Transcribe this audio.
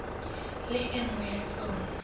le e nngwe ya tsona